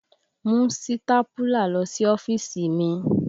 Mú sítápúlà lọ sí ọ́fíìsì mi!